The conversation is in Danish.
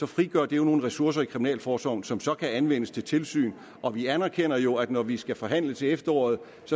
frigør nogle ressourcer i kriminalforsorgen som så kan anvendes til tilsyn og vi anerkender jo at vi når vi skal forhandle til efteråret